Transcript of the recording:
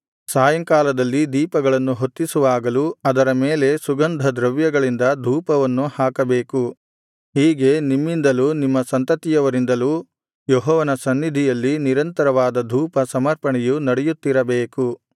ಸಾಯಂಕಾಲದಲ್ಲಿ ದೀಪಗಳನ್ನು ಹೊತ್ತಿಸುವಾಗಲೂ ಅದರ ಮೇಲೆ ಸುಗಂಧದ್ರವ್ಯಗಳಿಂದ ಧೂಪವನ್ನು ಹಾಕಬೇಕು ಹೀಗೆ ನಿಮ್ಮಿಂದಲೂ ನಿಮ್ಮ ಸಂತತಿಯವರಿಂದಲೂ ಯೆಹೋವನ ಸನ್ನಿಧಿಯಲ್ಲಿ ನಿರಂತರವಾದ ಧೂಪ ಸಮರ್ಪಣೆಯು ನಡೆಯುತ್ತಿರಬೇಕು